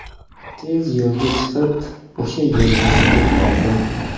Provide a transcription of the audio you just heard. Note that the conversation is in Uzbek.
Tezda yo‘lga chiqib, o‘sha yerga yetib bordim.